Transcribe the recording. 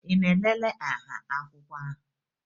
Ị na-elele nha akwụkwọ ahụ?